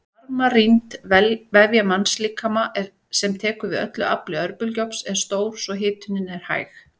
Varmarýmd vefja mannslíkama sem tekur við öllu afli örbylgjuofns er stór svo hitunin er hæg.